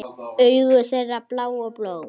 Augu þeirra blá og bólgin.